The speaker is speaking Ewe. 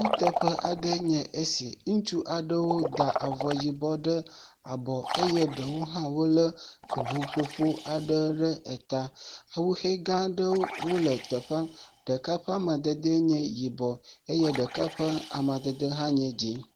Kuteƒe aɖee nye esi. Ŋutsu aɖewo da avɔ yibɔ ɖe abɔ eye ɖewo ha le ŋuƒoƒo aɖewo ɖe ta. Ƒuxɛ gã aɖewo le teƒea. Ɖeka ƒe amadede le yibɔ eye ɖeka ƒe amadede hã nye dzɛ.